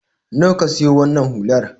Nawa ka siyo wannan hular?